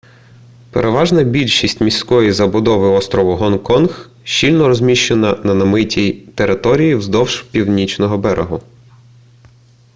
переважна більшість міської забудови острову гонконг щільно розміщена на намитій території вздовж північного берегу